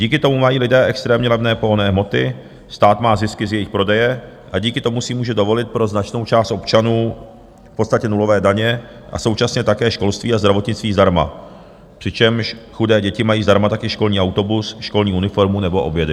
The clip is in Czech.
Díky tomu mají lidé extrémně levné pohonné hmoty, stát má zisky z jejich prodeje a díky tomu si může dovolit pro značnou část občanů v podstatě nulové daně a současně také školství a zdravotnictví zdarma, přičemž chudé děti mají zdarma taky školní autobus, školní uniformu nebo obědy.